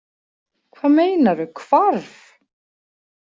Hvað meinarðu hvarf?